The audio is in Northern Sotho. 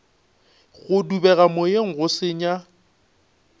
go dubega moyeng go senya